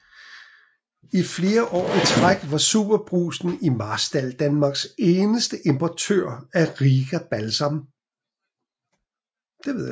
I flere år i træk var SuperBrugsen i Marstal Danmarks eneste importør af Riga Balsam